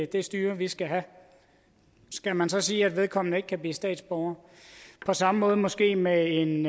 det styre vi skal have skal man så sige at vedkommende ikke kan blive statsborger på samme måde måske med en